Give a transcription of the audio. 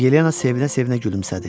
Yelena sevinə-sevinə gülümsədi.